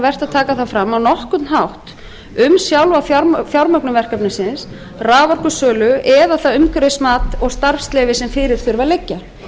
að taka það fram á nokkurn hátt um sjálfa fjármögnun verkefnisins raforkusölu eða það umhverfismat og starfsleyfi sem fyrir þurfa að liggja